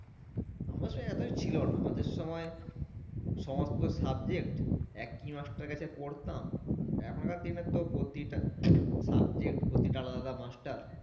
আমাদের সময় এত কিছু ছিলনা আমাদের সময় সমস্ত subject একি master এর কাছে পড়তাম এখনকার দিনে তো প্রতিটা subject প্রতিটা আলাদা আলাদা master